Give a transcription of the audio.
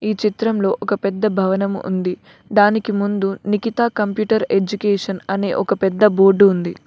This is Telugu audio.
ఈ చిత్రంలో ఒక పెద్ద భవనం ఉంది దానికి ముందు నిఖిత కంప్యూటర్ ఎడ్యుకేషన్ అనే ఒక పెద్ద బోర్డ్ ఉంది.